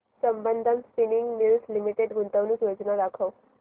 Sambandam spinning mills limited गुंतवणूक योजना दाखव